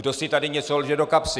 Kdo si tady něco lže do kapsy?